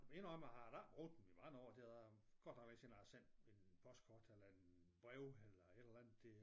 Men jeg indrømmer jeg har da ikke brugt dem i mange år det er godt nok lang tid siden jeg har sendt et postkort eller et brev eller et eller andet det